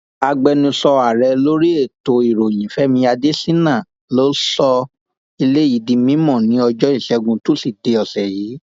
agbẹnusọ ààrẹ lórí ètò ìròyìn fẹmi adésínà ló sọ eléyìí di mímọ ní ọjọ ìṣẹgun túṣídéé ọsẹ yìí